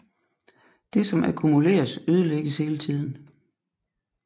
Det som akkumuleres ødelægges hele tiden